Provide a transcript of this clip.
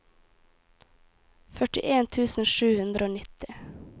førtien tusen sju hundre og nitti